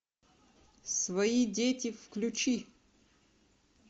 свои дети включи